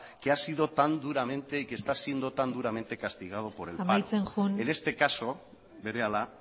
que ha sido tan duramente y que están siendo tan duramente castigado por el paro amaitzen joan berehala